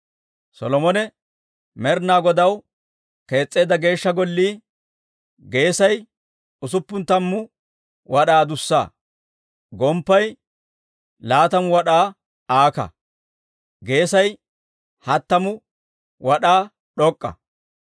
Solomone Med'inaa Godaw kees's'eedda Geeshsha Gollii geesay usuppun tammu wad'aa adussa; gomppay laatamu wad'aa aaka; geesay hattamu wad'aa d'ok'k'a.